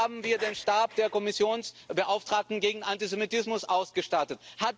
Wir haben hier den Stab der Kommissionsbeauftragten gegen Antisemitismus ausgestattet.